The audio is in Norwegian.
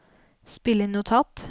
spill inn notat